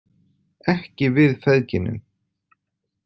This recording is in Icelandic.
Ekki við feðginin.